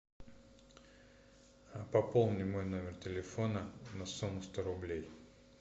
пополни мой номер телефона на сумму сто рублей